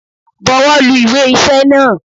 Bọwọ́ lu Ìwé iṣẹ́ náà!